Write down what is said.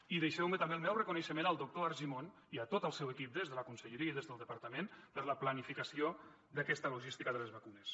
i deixeu me fer també el meu reconeixement al doctor argimon i a tot el seu equip des de la conselleria i des del departament per la planificació d’aquesta logística de les vacunes